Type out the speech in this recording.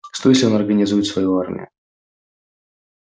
что если он организует свою армию